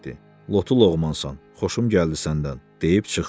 Lotu loğmansan, xoşum gəldi səndən, deyib çıxdı.